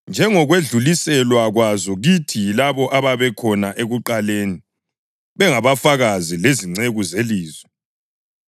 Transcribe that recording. njengokwedluliselwa kwazo kithi yilabo ababekhona ekuqaleni bengabafakazi lezinceku zelizwi.